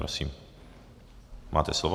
Prosím, máte slovo.